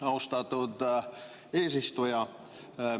Austatud eesistuja!